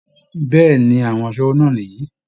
Bẹ́ẹ̀ ni, àwọn aṣẹ́wó náà nìyí